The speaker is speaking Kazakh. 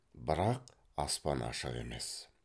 бірақ аспан ашық емес